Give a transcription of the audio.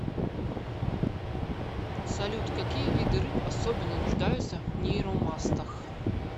салют какие виды рыб особенно нуждаются в нейромастах